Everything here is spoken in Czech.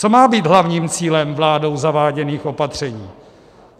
Co má být hlavním cílem vládou zaváděných opatření?